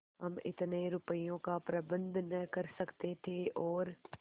हम इतने रुपयों का प्रबंध न कर सकते थे और